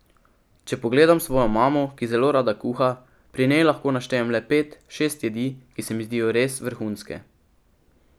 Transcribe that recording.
Če pogledam svojo mamo, ki zelo rada kuha, pri njej lahko naštejem le pet, šest jedi, ki se mi zdijo res vrhunske.